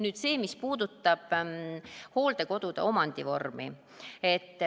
Nüüd see, mis puudutab hooldekodude omandivormi.